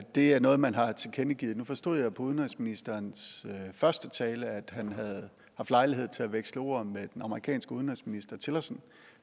det er noget man har tilkendegivet nu forstod jeg på udenrigsministerens første tale at han havde haft lejlighed til at veksle ord med den amerikanske udenrigsminister tillerson